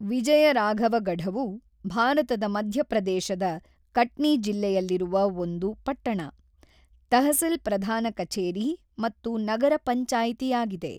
ವಿಜಯರಾಘವಗಢವು ಭಾರತದ ಮಧ್ಯಪ್ರದೇಶದ ಕಟ್ನಿ ಜಿಲ್ಲೆಯಲ್ಲಿರುವ ಒಂದು ಪಟ್ಟಣ, ತಹಸಿಲ್ ಪ್ರಧಾನ ಕಛೇರಿ ಮತ್ತು ನಗರ ಪಂಚಾಯಿತಿಯಾಗಿದೆ.